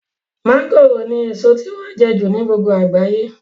mọ́ngòròni èso tí wọ́n jẹ jù ní gbogbo àgbáyé